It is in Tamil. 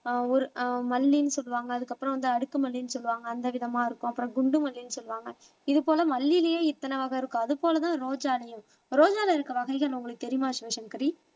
ஆஹ் ஒரு ஆஹ் மல்லின்னு சொல்லுவாங்க அதுக்கப்புறம் வந்து அடுக்கு மல்லின்னு சொல்லுவாங்க அந்த விதமா இருக்கும் அப்புறம் குண்டுமல்லின்னு சொல்லுவாங்க இது போல மல்லியிலேயே இத்தனை வகை இருக்கு அது போலதான் ரோஜாலயும் ரோஜால இருக்க வகைகள் உங்களுக்கு தெரியுமா சிவசங்கரி